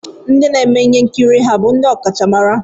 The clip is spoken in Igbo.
Ndị na-eme ihe nkiri bụ ndị ọkachamara?